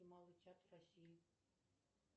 малый театр россии